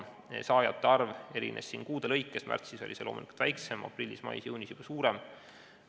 Saajate arv erines kuude lõikes, märtsis oli see loomulikult väiksem ja aprillis-mais-juunis suurem.